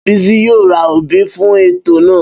Bísí yóò ra obì fún ètò náà